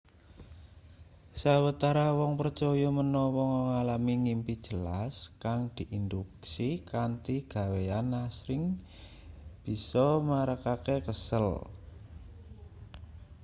sawetara wong percaya menawa ngalami ngimpi jelas kang diinduksi kanthi gaweyan asring bisa marakake kesel